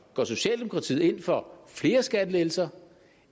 går socialdemokratiet ind for flere skattelettelser